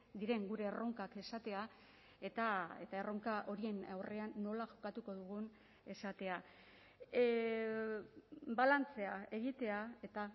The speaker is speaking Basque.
diren gure erronkak esatea eta erronka horien aurrean nola jokatuko dugun esatea balantzea egitea eta